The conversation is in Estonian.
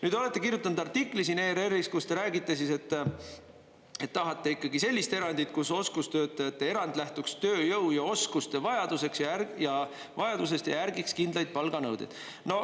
Te olete kirjutanud artikli siin ERR-is, kus te räägite siis, et tahate ikkagi sellist erandit, kus oskustöötajate erand lähtuks tööjõu ja oskuste vajadusest ja järgiks kindlaid palganõudeid.